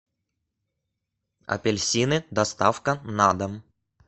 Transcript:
апельсины доставка на дом